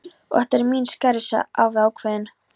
Og þetta eru mín skæri sagði afi ákveðinn.